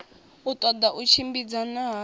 u ṱola u tshimbidzana hadzo